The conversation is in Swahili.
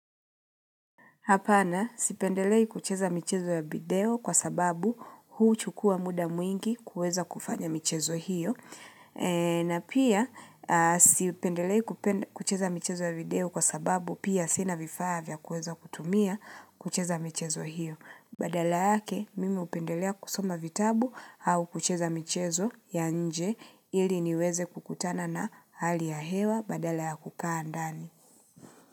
Hapana, sipendelei kucheza michezo ya video kwa sababu huchukua muda mwingi kuweza kufanya michezo hiyo. Na pia, sipendelei kucheza michezo ya video kwa sababu pia sina vifaa vya kuweza kutumia kucheza michezo hiyo. Badala yake, mimi hupendelea kusoma vitabu au kucheza michezo ya nje ili niweze kukutana na hali ya hewa badala ya kukaa ndani.